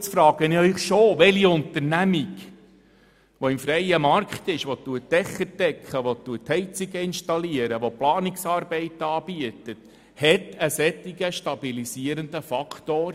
Nun frage ich Sie dennoch: Welche auf dem freien Markt tätige Unternehmung, die Dächer deckt, Heizungen installiert oder Planungsarbeiten anbietet, verfügt über einen solchen stabilisierenden Faktor?